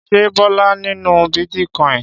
Ṣé Bọ́lá nínú bítíkọ́ìn?